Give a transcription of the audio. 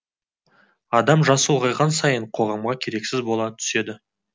адам жасы ұлғайған сайын қоғамға керексіз бола түседі